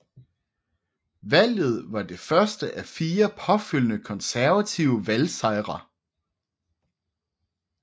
Valget var det første af fire påfølgende konservative valgsejre